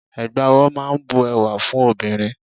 Ẹ̀gbà ọwọ́ máa ń bu ẹwà fún obìnrin.